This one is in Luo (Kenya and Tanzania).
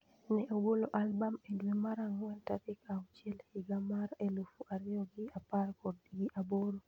Ne ogolo album e dwe mar angwen tarik auhiel higa mar elufu ariyo gi apar gi aboro